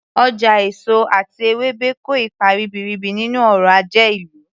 Ọjà èso àti ewébẹ̀ kò ipa ribiribi nínú ọrọ̀ ajé ìlú